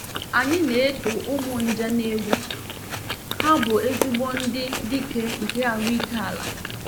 Anyị na-eto ụmụ nje na egwu—ha bụ ezigbo ndị dike nke ahụike ala.